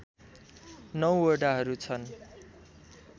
९ वडाहरू छन्